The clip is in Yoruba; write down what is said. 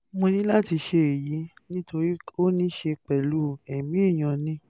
mo ní láti ṣe èyí nítorí ó ní í ṣe pẹ̀lú ẹ̀mí èèyàn ni